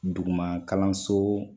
Dugu kalanso